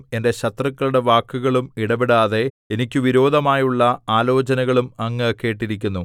എന്റെ ശത്രുക്കളുടെ വാക്കുകളും ഇടവിടാതെ എനിക്ക് വിരോധമായുള്ള ആലോചനകളും അങ്ങ് കേട്ടിരിക്കുന്നു